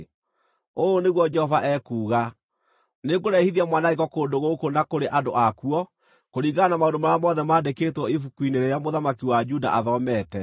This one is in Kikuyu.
‘Ũũ nĩguo Jehova ekuuga: Nĩngũrehithia mwanangĩko kũndũ gũkũ na kũrĩ andũ akuo kũringana na maũndũ marĩa mothe mandĩkĩtwo ibuku-inĩ rĩrĩa mũthamaki wa Juda athomete.